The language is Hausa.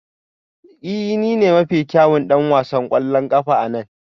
Ee ni ne mafi kyawun ɗan wasan ƙwallon ƙafa a nan